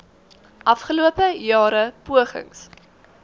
afgelope jare pogings